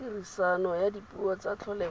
tiriso ya dipuo tsa tlholego